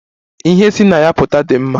Ihe si na ya pụta dị mma.